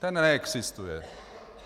Ten neexistuje.